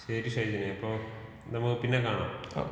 ശരി ഷൈജിനെ അപ്പൊ നമ്മുക്ക് പിന്നെ കാണാം.